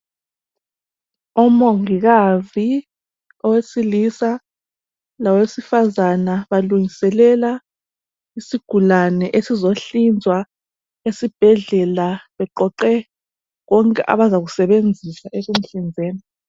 Omongikazi owesilisa lowesifazana balungiselela isigulane esizohlinzwa esibhedlela beqoqe konke abazakusebenzisa ekumuhlinzeni.